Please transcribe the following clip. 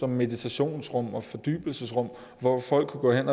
meditationsrum og fordybelsesrum hvor folk kan gå hen